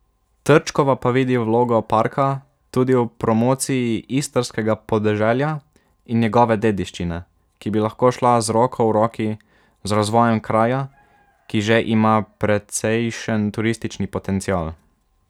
Trčkova pa vidi vlogo parka tudi v promociji istrskega podeželja in njegove dediščine, ki bi lahko šla z roko v roki z razvojem kraja, ki že ima precejšen turistični potencial.